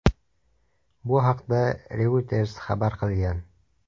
Bu haqda Reuters xabar qilgan .